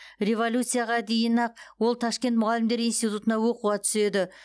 революцияға дейін ақ ол ташкент мұғалімдер институтына оқуға түседі